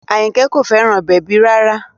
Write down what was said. Àyìnkẹ́ kò fẹ́ràn bèbí rárá